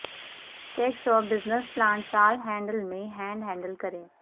tax اور business plant سال handle میں ہینڈ ہینڈل کریں